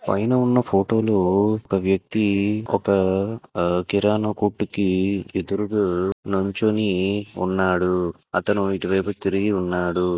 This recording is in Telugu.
ఫోటోలు ఒక వ్యక్తి ఒక కిరాణా కొట్టుకి ఎదురు మంచోని అతను ఓటు వేయకు తిరిగి ఉన్నాడు--